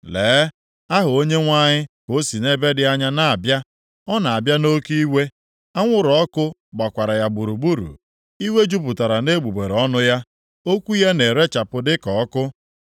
Lee, Aha Onyenwe anyị ka o si nʼebe dị anya na-abịa! Ọ na-abịa nʼoke iwe, anwụrụ ọkụ gbakwara ya gburugburu. Iwe jupụtara nʼegbugbere ọnụ ya, okwu ya na-erechapụ dịka ọkụ.